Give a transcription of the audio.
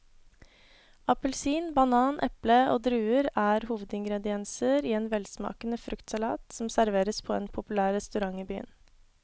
Appelsin, banan, eple og druer er hovedingredienser i en velsmakende fruktsalat som serveres på en populær restaurant i byen.